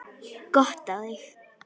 Gott á þig.